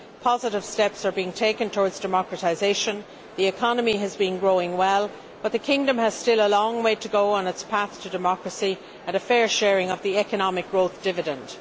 positive steps are being taken towards democratisation and the economy has been growing well, but the Kingdom has still a long way to go on its path to democracy and a fair sharing of the economic growth dividend.